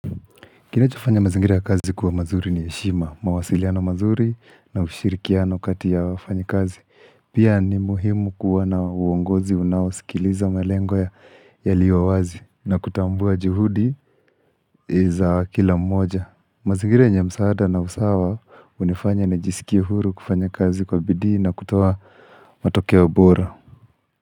Kilicho fanya mazingiri ya kazi kuwa mazuri ni heshima, mawasiliano mazuri na ushirikiano kati ya wafanyi kazi. Pia ni muhimu kuwa na uongozi unaosikiliza malengo yaliowazi na kutambua juhudi za kila mmoja. Mazingira yenye msaada na usawa hunifanya nijiskie huru kufanya kazi kwa bidii na kutoa matokeo bora.